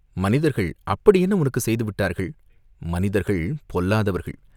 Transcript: "மனிதர்கள் அப்படி என்ன உனக்குச் செய்து விட்டார்கள்?" "மனிதர்கள் பொல்லாதவர்கள்.